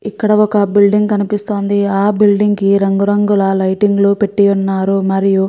ఇక్కడ ఒక బిల్డింగ్ కనిపిస్తోంది ఆ బిల్డింగ్ కి రంగు రంగుల లైటింగ్ లు పెట్టివున్నారు మరియు --